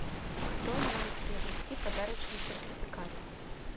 кто может приобрести подарочный сертификат